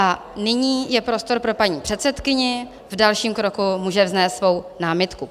A nyní je prostor pro paní předsedkyni, v dalším kroku může vznést svou námitku.